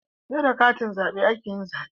Seda katin zabe ake yin zabe